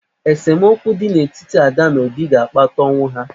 Esemokwu dị n'etiti Ada na Obi ga-akpata ọnwụ ha.